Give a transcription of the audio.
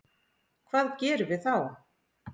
Hvað gerum við þá?